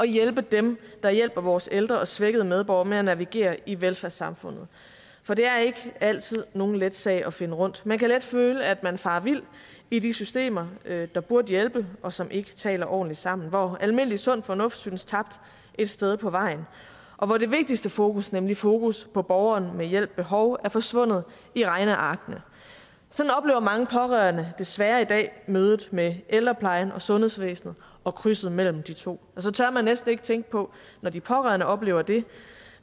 hjælpe dem der hjælper vores ældre og svækkede medborgere med at navigere i velfærdssamfundet for det er ikke altid nogen let sag at finde rundt man kan let føle at man farer vild i de systemer der burde hjælpe og som ikke taler ordentligt sammen hvor almindelig sund fornuft synes tabt et sted på vejen og hvor det vigtigste fokus nemlig fokus på borgeren med hjælp behov er forsvundet i regnearkene sådan oplever mange pårørende desværre i dag mødet med ældreplejen og sundhedsvæsenet og krydset mellem de to og så tør man næsten ikke tænke på når de pårørende oplever det